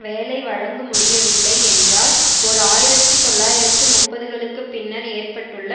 வேலை வழங்குமுடியவில்லை என்றால் ஓர் ஆயிரத்தி தொள்ளாயிரத்து முப்பதுகளுக்கு பின்னர் ஏற்பட்டுள்ள